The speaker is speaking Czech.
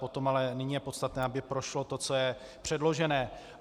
Potom ale nyní je podstatné, aby prošlo to, co je předložené.